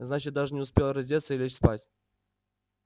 значит даже не успел раздеться и лечь спать